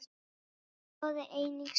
Skoðið einnig svörin